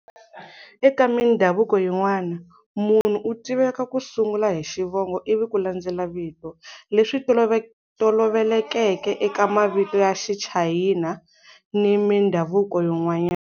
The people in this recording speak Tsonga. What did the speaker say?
Eka mindhavuko yin'wana, munhu u tiveka ku sungula hi xivongo ivi ku landzela vito, leswi tolovelekeke eka mavito ya Xichayina ni mindhavuko yin'wana.